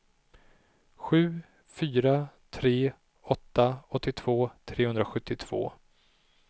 sju fyra tre åtta åttiotvå trehundrasjuttiotvå